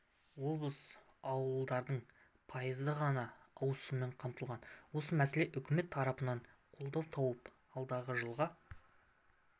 облыс ауылдарының пайызы ғана ауыз сумен қамтылған осы мәселе үкімет тарапынан қолдау тауып алдағы жылға